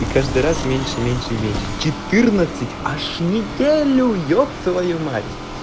и каждый раз меньше меньше и меньше четырнадцать аж неделю еб твою мать